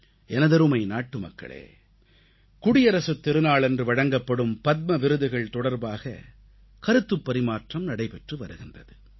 எனதருமை நாட்டுமக்களே குடியரசுத் திருநாளன்று வழங்கப்படும் பத்ம விருதுகள் தொடர்பாக கருத்துப் பரிமாற்றம் நடைபெற்று வருகின்றது